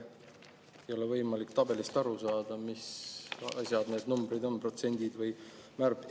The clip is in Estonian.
Ei ole võimalik tabelist aru saada, mis need numbrid on, protsendid või.